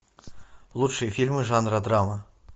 лучшие фильмы жанра драма